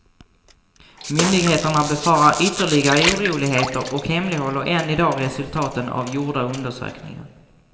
Myndigheterna befarar ytterligare oroligheter och hemlighåller än i dag resultaten av gjorda undersökningar.